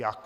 Jak?